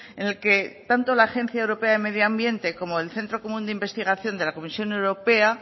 en el que tanto la agencia europea de medio ambiente como el centro común de investigación de la comisión europea